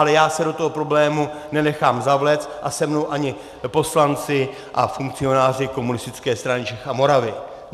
Ale já se do toho problému nenechám zavléct a se mnou ani poslanci a funkcionáři Komunistické strany Čech a Moravy.